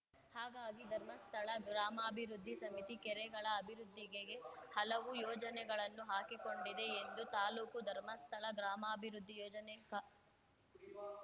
ಹಾಗಾಗಿ ಧರ್ಮಸ್ಥಳ ಗ್ರಾಮಾಭಿವೃದ್ಧಿ ಸಮಿತಿ ಕೆರೆಗಳ ಅಭಿವೃದ್ಧಿಗೆ ಹಲವು ಯೋಜನೆಗಳನ್ನು ಹಾಕಿಕೊಂಡಿದೆ ಎಂದು ತಾಲೂಕು ಧರ್ಮಸ್ಥಳ ಗ್ರಾಮಾಭಿವೃದ್ಧಿ ಯೋಜನೆ ಕಾ